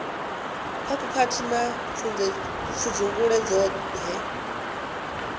kha khakhathi na pfudzungule dzoṱhe